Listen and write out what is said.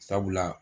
Sabula